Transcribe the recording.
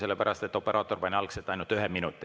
Sellepärast, et operaator pani algselt ainult ühe minuti.